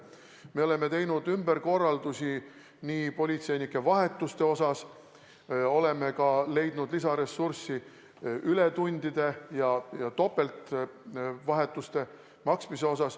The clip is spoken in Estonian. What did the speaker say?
Me oleme teinud ümberkorraldusi politseinike vahetuste osas, oleme ka leidnud lisaressurssi, et maksta ületundide ja topeltvahetuste eest.